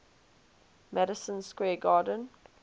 madison square garden